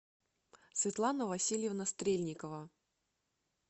светлана васильевна стрельникова